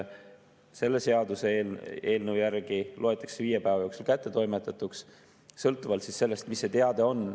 Selle seaduseelnõu järgi loetakse viie päeva jooksul kättetoimetatuks sõltuvalt sellest, mis see teade on.